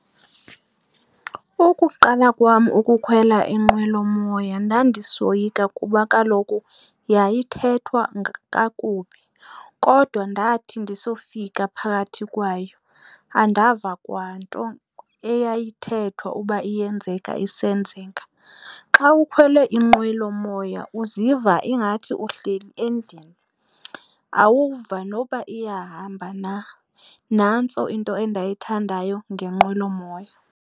Ukuqala kwam ukukhwela inqwelomoya ndandisoyika kuba kaloku yayithethwa kakubi kodwa ndathi ndisofika phakathi kwayo andava kwanto eyayithethwa uba iyenzeka isenzeka. Xa ukhwele inqwelomoya uziva ingathi uhleli endlini awuva noba iyahamba na, nantso into endayithandayo ngenqwelomoya.